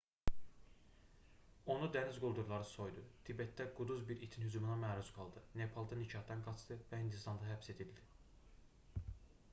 onu dəniz quldurları soydu tibetdə quduz bir itin hücumuna məruz qaldı nepalda nikahdan qaçdı və hindistanda həbs edildi